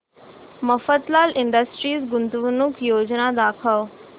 Mafatlal Industries गुंतवणूक योजना दाखव